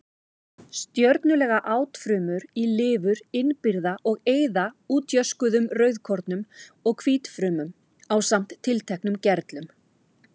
Stjörnulaga átfrumur í lifur innbyrða og eyða útjöskuðum rauðkornum og hvítfrumum ásamt tilteknum gerlum.